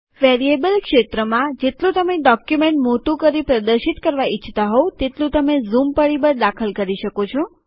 variable ક્ષેત્રમાં જેટલું તમે ડોક્યુમેન્ટ મોટું કરી પ્રદર્શિત કરવા ઈચ્છતા હોવ તેટલું તમે ઝૂમ પરિબળ દાખલ કરી શકો છો